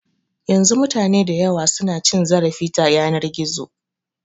Yanzu mutane dayawa su na cin zarafi ta yanar gizo